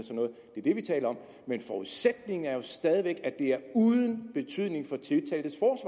det vi taler om men forudsætningen er jo stadig væk at det er uden betydning for tiltaltes